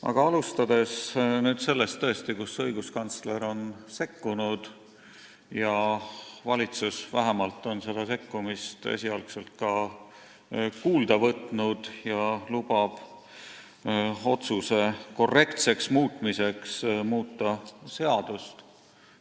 Aga alustades sellest, et õiguskantsler on sekkunud, siis tuleb öelda, et valitsus on vähemalt seda sekkumist esialgu kuulda võtnud ja lubab otsuse korrektseks muutmiseks seadust muuta.